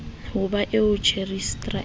ho ba eo rejistra a